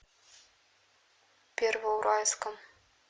первоуральском